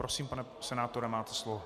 Prosím, pane senátore, máte slovo.